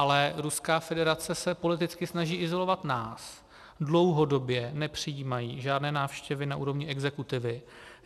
Ale Ruská federace se politicky snaží izolovat nás, dlouhodobě nepřijímají žádné návštěvy na úrovni exekutivy.